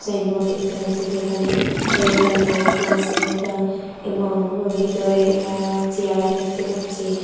Signboard দেখতে পাচ্ছি যেখানে টাইটান আই প্লাস লেখা এবং ভিতরে এ্যা চেয়ার দেখতে পাচ্ছি।